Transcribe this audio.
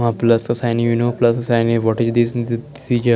वहाँ प्लस का sign you know plus का sign what is this the ज--